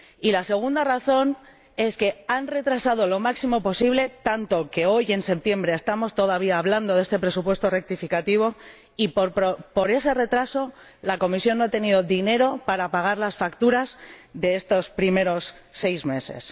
y la segunda razón es que lo han retrasado lo máximo posible, tanto que hoy, en septiembre, estamos todavía hablando de este presupuesto rectificativo, y por ese retraso la Comisión no ha tenido dinero para pagar las facturas de estos primeros seis meses.